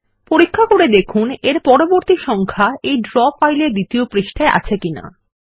পরীক্ষার পরে দেখুন এর পরবর্তী সংখ্যা এই ড্র ফাইলের দ্বিতীয় পৃষ্ঠায় আছে কিনা